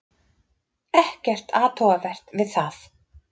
Ekkert athugavert við það.